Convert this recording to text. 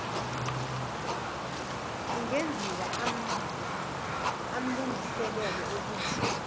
kungenziwa aamlungiselelo okuthi